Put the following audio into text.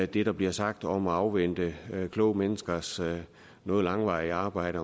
det der bliver sagt om at afvente kloge menneskers noget langvarige arbejde